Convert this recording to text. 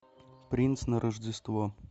принц на рождество